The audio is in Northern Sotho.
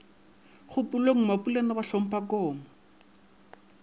kgopolong mapulana ba hlompha koma